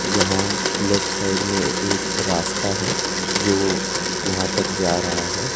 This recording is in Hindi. जहां लेफ्ट साइड में एक रास्ता है जो यहां तक जा रहा है।